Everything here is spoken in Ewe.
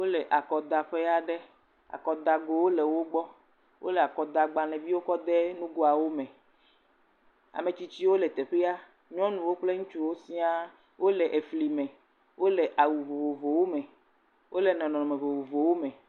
Wole akɔdaƒe aɖe. akɔdagbalẽgowo le wogbɔ. Wole agblẽviwo kɔ dee nugoawome. Ame tsitsiwo le teƒea. Nyɔnuwo kple ŋutsuwo siaaa. Wole flime. Wole awu vovovowome. Wole nɔnɔme vovovowome.